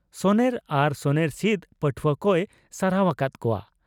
ᱥᱚᱱᱮᱨ ᱟᱨ ᱥᱚᱱᱮᱨ ᱥᱤᱫᱽ ᱯᱟᱹᱴᱷᱩᱣᱟᱹ ᱠᱚᱭ ᱥᱟᱨᱦᱟᱣ ᱟᱠᱟᱫ ᱠᱚᱣᱟ ᱾